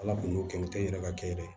Ala kun t'o kɛ u tɛ i yɛrɛ ka kɛ dɛ